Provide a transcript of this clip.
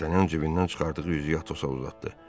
Dartanyan cibindən çıxardığı üzüyü Atosa uzatdı.